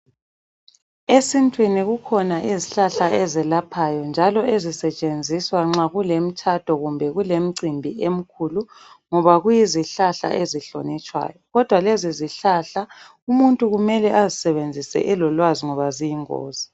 Esintwini kukhona izihlala ezelaphayo njalo ezisetshenziswa nxa kulemitshado kumbe kulemicimbhi emikhulu ngoba kuyizihlahla ezihlonitshwayo. Kodwa lezizihlahla umuntu kumele asizebenzise elolwazi ngoba ziyi ngozi.